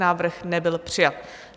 Návrh nebyl přijat.